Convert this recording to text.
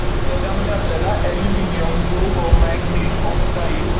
तर त्यामध्ये आपल्याला aluminum लोह, manganese, oxide